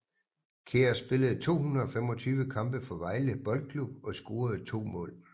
Kjær spillede 225 kampe for Vejle Boldklub og scorede to mål